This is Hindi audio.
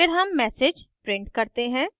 फिर हम msg print करते हैं